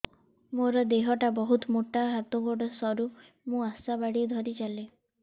ମୋର ଦେହ ଟା ବହୁତ ମୋଟା ହାତ ଗୋଡ଼ ସରୁ ମୁ ଆଶା ବାଡ଼ି ଧରି ଚାଲେ